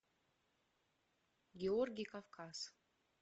георгий кавказ